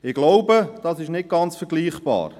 Ich denke, dies ist nicht ganz vergleichbar.